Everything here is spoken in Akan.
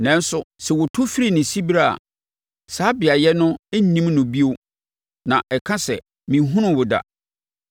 Nanso sɛ wɔtu firi ne siberɛ a, saa beaeɛ no nnim no bio na ɛka sɛ, ‘Menhunuu wo da.’